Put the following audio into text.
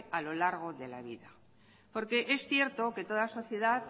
a lo largo de la vida porque es cierto que toda sociedad